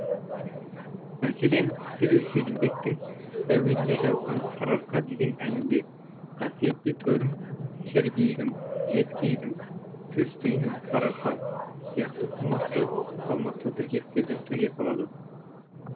мәселен ақселеу сейдімбектің әуеніне жазылған сарыарқа деген әнінде қасиетті төрім кер биігім жезкиігім сөз түйінім сарыарқа сияқты қомақты салмақты тіркестерді төге салады